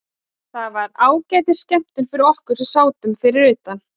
Þetta var ágætis skemmtun fyrir okkur sem sátum fyrir utan.